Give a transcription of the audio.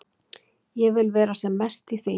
Ég vil vera sem mest í því.